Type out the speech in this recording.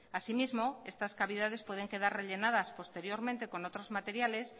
así mismo estas cavidades pueden quedar rellenadas posteriormente con otros materiales